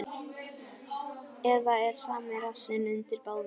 Eða er sami rassinn undir báðum.